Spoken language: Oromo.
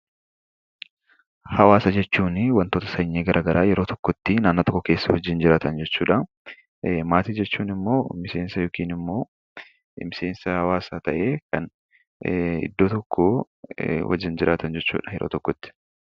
Hawaasa jechuunii wantoota sanyii gara garaa yeroo tokkottii naannoo tokko keessa wajjin jiraatan jechuudhaa. Maatii jechuun immoo miseensa yookin immoo miseensa hawaasaa ta'ee iddoo tokkoo wajjin jiraatan jechuudha yeroo tokkotti.